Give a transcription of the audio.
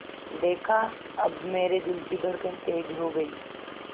देखा अब मेरे दिल की धड़कन तेज़ हो गई